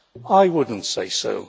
I would not say so.